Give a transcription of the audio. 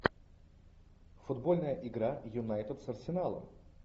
футбольная игра юнайтед с арсеналом